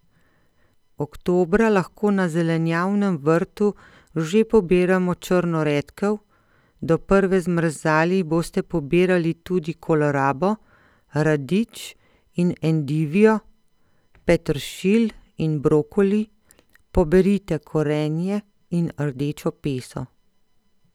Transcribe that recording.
Oktobra lahko na zelenjavnem vrtu že pobiramo črno redkev, do prve zmrzali boste pobirali tudi kolerabo, radič in endivijo, peteršilj in brokoli, poberite korenje in rdečo peso.